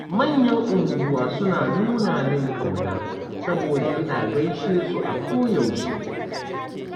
Manyan unguwa suna nuna min ƙauna, saboda ina gaishe su a koyaushe.